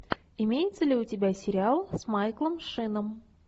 имеется ли у тебя сериал с майклом шином